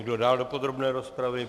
Kdo dál do podrobné rozpravy?